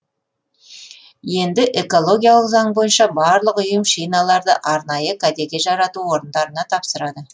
енді экологиялық заң бойынша барлық ұйым шиналарды арнайы кәдеге жарату орындарына тапсырады